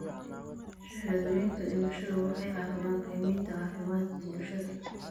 Shahaadooyinka dhimashada waxay caawiyaan qiimaynta caafimaadka bulshada.